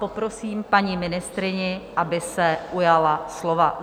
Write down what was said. Poprosím paní ministryni, aby se ujala slova.